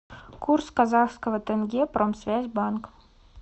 курс казахского тенге промсвязьбанк